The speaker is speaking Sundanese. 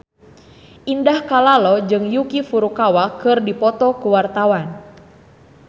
Indah Kalalo jeung Yuki Furukawa keur dipoto ku wartawan